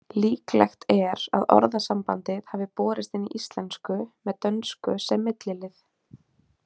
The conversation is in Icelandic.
Líklegt er að orðasambandið hafi borist inn í íslensku með dönsku sem millilið.